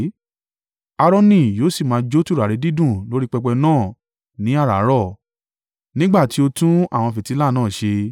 “Aaroni yóò sì máa jó tùràrí dídùn lórí pẹpẹ náà ní àràárọ̀, nígbà tí ó tún àwọn fìtílà náà ṣe.